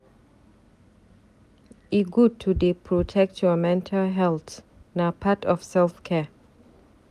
E good to dey protect your mental healt na part of self care.